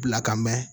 Bila ka mɛn